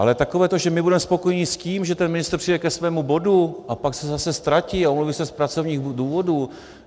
Ale takové to že my budeme spokojeni s tím, že ten ministr přijde ke svému bodu a pak se zase ztratí a omluví se z pracovních důvodů...